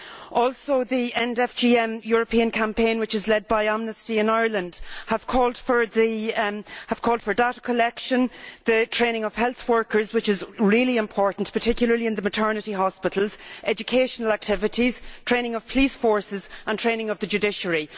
In addition, the End FGM European Campaign', which is led by Amnesty in Ireland, has called for data collection, the training of health workers which is really important, particularly in maternity hospitals educational activities, training of police forces and training of the judiciary.